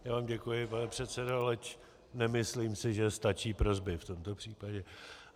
Já vám děkuji, pane předsedo, leč nemyslím si, že stačí prosby v tomto případě.